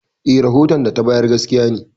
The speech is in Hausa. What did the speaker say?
Eh, rahoton da ta bayar gaskiya ne.